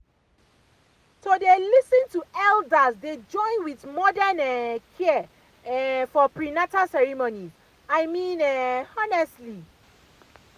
to dey lis ten to elders dey join with modern um care um for prenatal ceremonies i mean um honestly